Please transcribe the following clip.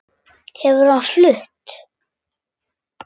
Hefur hann flutt?